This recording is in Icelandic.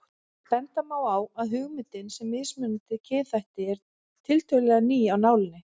Benda má á að hugmyndin um mismunandi kynþætti er tiltölulega ný af nálinni.